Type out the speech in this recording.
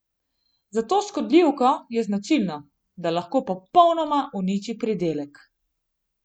Za to škodljivko je značilno, da lahko popolnoma uniči pridelek.